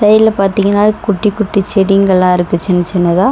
சைட்ல பாத்தீங்கன்னா குட்டி குட்டி செடிங்கல்லா இருக்கு சின்ன சின்னதா.